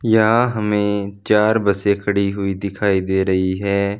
यहां हमे चार बसे खड़ी हुई दिखाई दे रही है।